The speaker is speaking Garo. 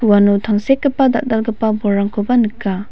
uano tangsekgipa dal·dalgipa bolrangkoba nika.